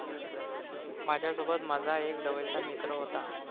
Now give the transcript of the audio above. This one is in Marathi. माझ्यासोबत माझा एक जवळचा मित्र होता.